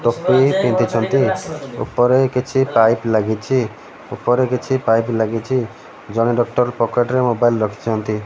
ଟୋପି ପିନ୍ଧିଛନ୍ତି ଓପରେ କିଛି ପାଇପ୍ ଲାଗିଚି ଓପରେ କିଛି ପାଇପ୍ ଲାଗିଚି ଜଣେ ଡକ୍ଟର୍ ପକେଟ୍ ରେ ମୋବାଇଲ୍ ରଖିଚନ୍ତି ।